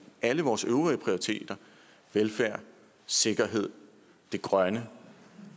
alle vores øvrige prioriteter velfærd sikkerhed det grønne